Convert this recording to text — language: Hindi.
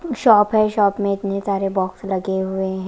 शॉप है शॉप में इतने सारे बॉक्स लगे हुए --